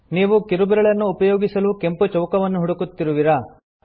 ನೀವು ಕಿರುಬೆರಳನ್ನು ಉಪಯೋಗಿಸಲು ಕೆಂಪು ಚೌಕವನ್ನು ಹುಡುಕುತ್ತಿರುವಿರಾ